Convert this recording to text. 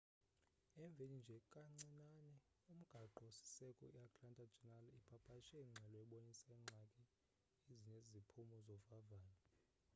emveni nje kancinane umgaqo siseko i atlanta journal ipapashe ingxelo ebonisa iingxaki ezineziphumo zovavanyo